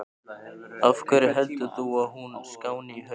Af hverju heldur þú að hún skáni í haust?